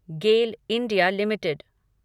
Gayle India limited